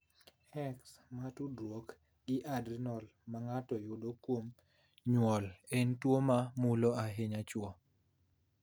X ma tudruok gi adrenal ma ng’ato yudo kuom nyuol en tuwo ma mulo ahinya chwo.